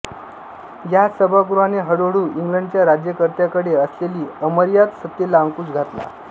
या सभागृहाने हळूहळू इंग्लंडच्या राज्यकर्त्यांकडे असलेली अमर्याद सत्तेला अंकुश घातला